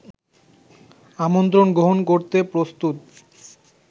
আমন্ত্রণ গ্রহণ করতে প্রস্তুত